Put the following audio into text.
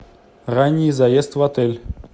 ранний заезд в отель